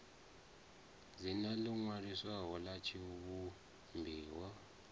dzina ḽo ṅwaliswaho ḽa tshivhumbiwa